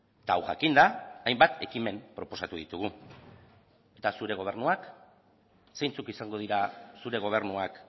eta hau jakinda hainbat ekimen proposatu ditugu eta zure gobernuak zeintzuk izango dira zure gobernuak